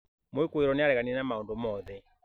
Mwikuirwo nĩ aareganire na maũndũ mothe.